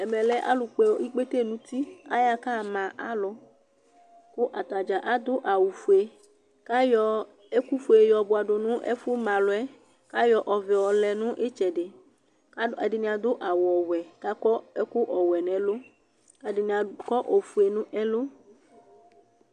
ɛmɛ lɛ Alu kpɔ ɛlu, ikpete n'uti, aya ɣa kama alu , ku ata dza adu awu fue, k'ayɔ ɛku fue yɔ bʋa du nu ɛfuɛ ka ma alu yɛ , k'ayɔ ɔvɛ yɔlɛ n'itsɛdi, ku ɛdini adu awu wɛ, kakɔ ɛku ɔwɛ n'ɛlu k'ɛdini akɔ ofue n'ɛlu